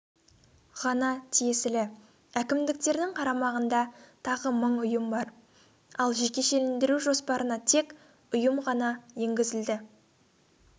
ғана тиесілі әкімдіктердің қарамағында тағы мың ұйым бар ал жекешелендіру жоспарына тек ұйым ғана енгізілді